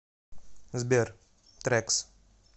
сбер трэкс